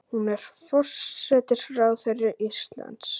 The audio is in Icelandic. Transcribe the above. Hún er forsætisráðherra Íslands.